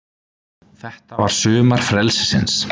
Þetta var sumar frelsisins.